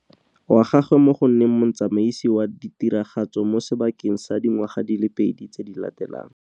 wa gagwe mo go nneng motsamaisi wa ditiragatso mo sebakeng sa dingwaga di le pedi tse di latelang.